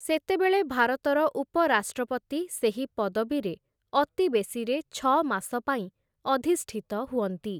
ସେତେବେଳେ ଭାରତର ଉପରାଷ୍ଟ୍ରପତି ସେହି ପଦବୀରେ ଅତିବେଶୀରେ ଛଅମାସ ପାଇଁ ଅଧିଷ୍ଠିତ ହୁଅନ୍ତି ।